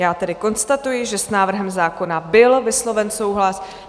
Já tedy konstatuji, že s návrhem zákona byl vysloven souhlas.